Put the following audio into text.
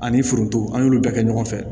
Ani foronto an y'olu bɛɛ kɛ ɲɔgɔn fɛ